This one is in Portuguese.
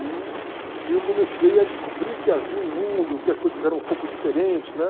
E e eu comecei a descobrir que havia um mundo, que as coisas eram um pouco diferentes, né?